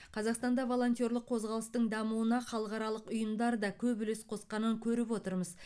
қазақстанда волонтерлық қозғалыстың дамуына халықаралық ұйымдар да көп үлес қосқанын көріп отырмыз